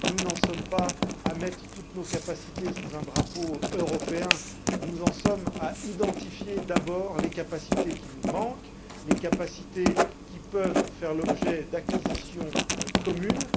Nous n'en sommes pas à mettre toutes nos capacités sous un drapeau européen, nous en sommes à identifier d'abord les capacités qui nous manquent et celles qui peuvent faire l'objet d'acquisitions communes.